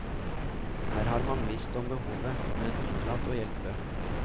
Her har man visst om behovet, men unnlatt å hjelpe.